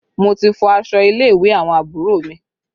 Mo ti fọ aṣọ ilé ìwé àwọn àbúrò mi